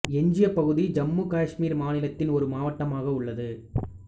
எஞ்சிய பகுதி ஜம்மு காஷ்மீர் மாநிலத்தின் ஒரு மாவட்டமாக உள்ளது